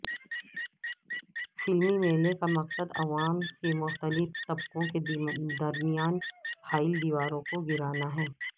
فلمی میلے کا مقصد عوام کے مختلف طبقوں کے درمیان حائل دیواروں کو گرانا ہے